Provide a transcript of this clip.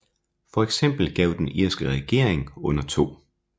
For eksempel gav den irske regering under 2